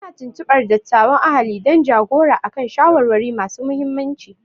Ana tuntubar dattawan ahali don ja-gora a kan shawarwari masu muhimmanci.